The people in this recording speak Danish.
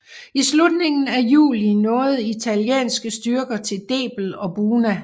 I slutningen af juli nåede italienske styrker til Debel og Buna